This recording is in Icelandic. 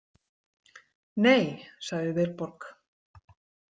Nei, sagði Vilborg.